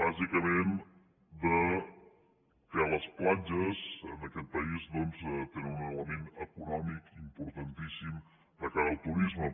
bàsicament que les platges en aquest país doncs tenen un element econòmic importantíssim de cara al turisme